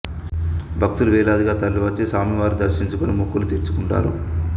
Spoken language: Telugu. భక్తులు వేలాదిగా తరలివచ్చి స్వామి వారిని దర్శించుకొని మొక్కులు తీర్చుకుంటారు